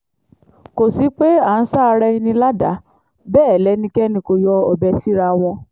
kò sí pé à ń sa ara ẹni ládàá bẹ́ẹ̀ lẹ́nikẹ́ni kò yọ ọbẹ̀ síra wọn